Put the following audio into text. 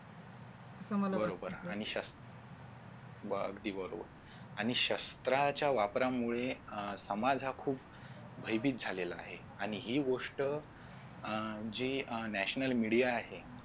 मग अगदी बरोबर आणि शस्त्राच्या वापरामुळे अह समाज हा खूप भयभीत झालेला आहे आणि ही गोष्ट अह जी अह national media आहे